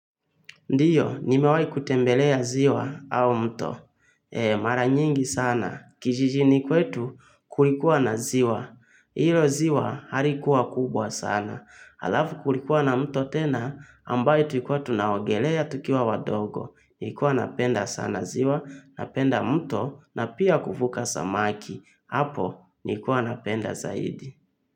Ndiyo, nimewahi kutembelea ziwa au mto. Mara nyingi sana. Kijijini kwetu kulikuwa na ziwa. Hilo ziwa halikuwa kubwa sana. Halafu kulikuwa na mto tena, ambayo tulikuwa tunaogelea tukiwa wadogo. Nilikuwa napenda sana ziwa, napenda mto, na pia kuvuka samaki. Hapo, nilikuwa napenda zaidi.